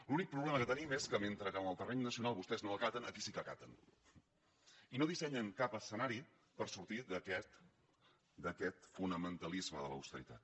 l’únic problema que tenim és que mentre que en el terreny nacional vostè no ho acaten aquí sí que ho acaten i no dissenyen cap escenari per sortir d’aquest fonamentalisme de l’austeritat